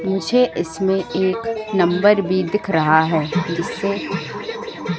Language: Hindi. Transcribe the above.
मुझे इसमें एक नंबर भी दिख रहा है जिससे--